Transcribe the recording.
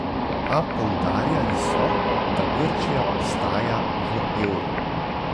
A poudarjali so, da Grčija ostaja v evru.